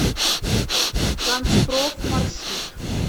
канцпроф маршрут